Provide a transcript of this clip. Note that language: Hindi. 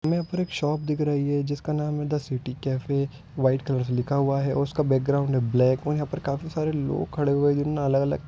हमें यहां पर एक शॉप दिख रही है जिसका नाम है the city cafe white colour से लिखा हुआ है उसका बैकग्राउंड है ब्लैक और यहां पर कई सारे लोग खड़े हुए है जिन्होंने अलग-अलग --